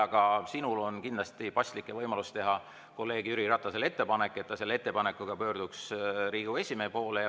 Aga sinul on kindlasti paslik ja võimalik teha kolleeg Jüri Ratasele ettepanek, et ta selle ettepanekuga pöörduks Riigikogu esimehe poole.